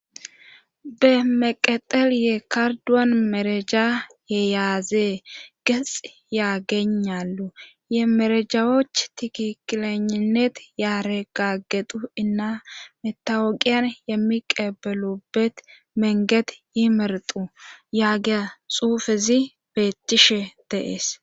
be meqexel ye karduwan mereja yeyaazee gexi yaagenallu ye merejhaoch tikikileninet yaare gaggetu inna metawoqiyan yemmi qeebelubet menget yimertu yaagea xuufezi beettishe deees